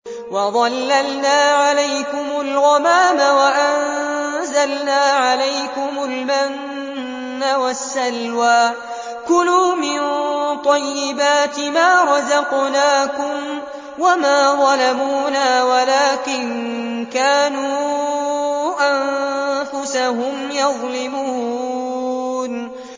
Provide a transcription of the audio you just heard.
وَظَلَّلْنَا عَلَيْكُمُ الْغَمَامَ وَأَنزَلْنَا عَلَيْكُمُ الْمَنَّ وَالسَّلْوَىٰ ۖ كُلُوا مِن طَيِّبَاتِ مَا رَزَقْنَاكُمْ ۖ وَمَا ظَلَمُونَا وَلَٰكِن كَانُوا أَنفُسَهُمْ يَظْلِمُونَ